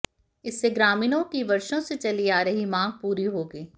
इससे ग्रामीणों की वर्षों से चली आ रही मांग पूरी होगी